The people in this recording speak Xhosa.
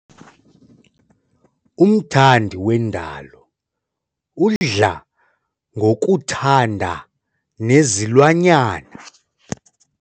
Umthandi wendalo udla ngokuthanda nezilwanyana.